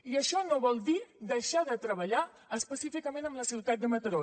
i això no vol dir deixar de treballar específicament amb la ciutat de mataró